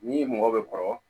Ni mɔgɔ bɛ kɔrɔ